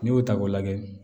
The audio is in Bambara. N'i y'o ta k'o lajɛ